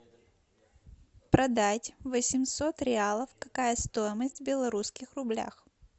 продать восемьсот реалов какая стоимость в белорусских рублях